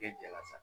jala sa